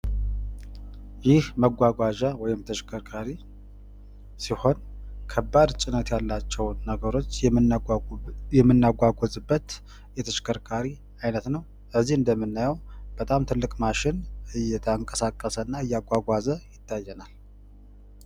ይህ መጓጓዣ ወይም ተሽከርካሪ ሲሆን ፤ ከባድ ጭነት ያላቸውን ነገሮች የምናጓጉዝበት የተሽከርካሪ አይነት ነው ።እዚህ እንደምናየው በጣም ትልቅ ማሽን እያንቀሳቀሰ እና እያጓጓዘ ይታየናል።